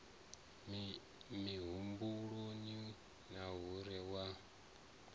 mihumbuloni na hunwe u anganya